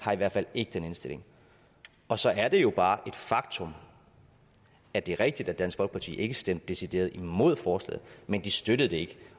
har i hvert fald ikke den indstilling og så er det jo bare et faktum at det er rigtigt at dansk folkeparti ikke stemte decideret imod forslaget men de støttede det ikke